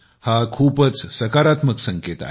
हा खूपच सकारात्मक संकेत आहे